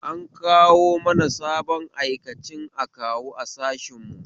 An kawo mana sabon aikacin akawu a sashen mu